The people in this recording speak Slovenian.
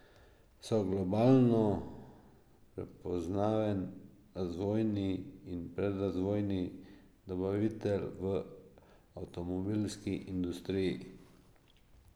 So globalno prepoznaven razvojni in predrazvojni dobavitelj v avtomobilski industriji.